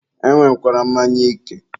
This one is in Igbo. e nwekwara mmanya ike.